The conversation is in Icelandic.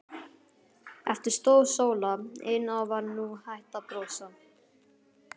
Eftir stóð Sóla ein og var nú hætt að brosa.